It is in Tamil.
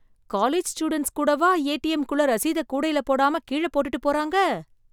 காலேஜ் ஸ்டூடன்ஸ் கூடவா ஏடிஎம்குள்ள ரசீதை கூடையில போடாம கீழ போட்டுட்டு போறாங்க?